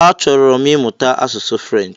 Achọrọ m imuta asụsụ Frenchi.